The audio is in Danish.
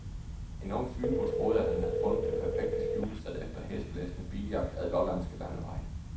En ung fynbo troede, han havde fundet det perfekte skjulested efter hæsblæsende biljagt ad lollandske landeveje.